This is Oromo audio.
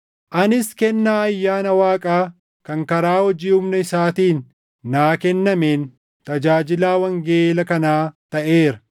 Anis kennaa ayyaana Waaqaa kan karaa hojii humna isaatiin naa kennameen tajaajilaa wangeela kanaa taʼeera.